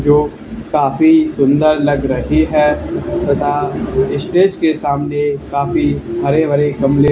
जो काफी सुंदर लग रही है तथा स्टेज के सामने काफी हरे भरे गमले--